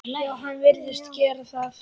Já, hann virðist gera það.